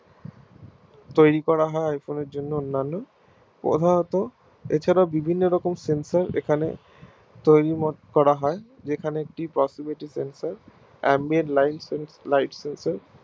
তৈরী করা হয় iPhone এর জন্য অন্যান্য প্রধানত এছাড়াও বিভিন্ন রকম Cellphone এখানে তৈরী মোট করা হয় যেখানে একটি sensor তৈরী করা হয়